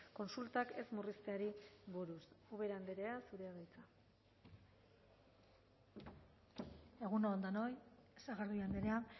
kontsultak ez murrizteari buruz ubera andrea zurea da hitza egun on denoi sagardui andrea